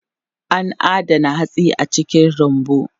An adana hatsi a cikin rumbu.